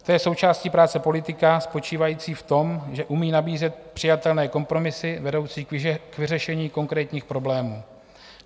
To je součástí práce politika spočívající v tom, že umí nabízet přijatelné kompromisy vedoucí k vyřešení konkrétních problémů.